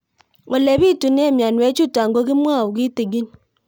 Ole pitune mionwek chutok ko kimwau kitig'ín